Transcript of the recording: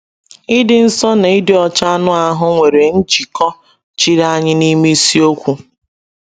Ịdị nsọ na ịdị ọcha anụ ahụ́ nwere njikọ chiri anya n’ime ịsiokwu